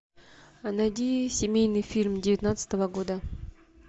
найди семейный фильм девятнадцатого года